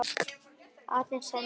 aðeins hennar vegna.